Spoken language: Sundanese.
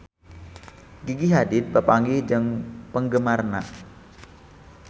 Gigi Hadid papanggih jeung penggemarna